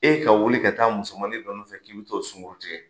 E ka wuli ka taa musomanin dɔ nɔfɛ k'i be t'o sunguru tigɛ